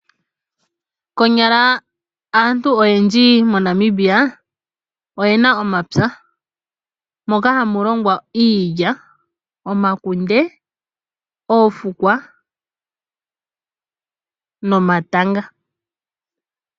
Konyala aantu oyendji moNamibia oye na omapya moka hamu longwa, iilya, omakunde, oofukwa nomatanga.